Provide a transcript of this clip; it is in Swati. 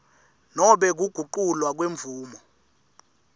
nobe kuguculwa kwemvumo